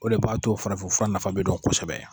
O de b'a to farafinfura nafa be dɔn kosɛbɛ yan